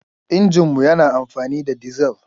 Injin mu yana amfani da dizal.